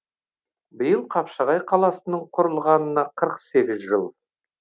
биыл қапшағай қаласының құрылғанына қырық сегіз жыл